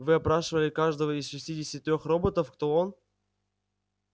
вы опрашивали каждого из шестидесяти трёх роботов кто он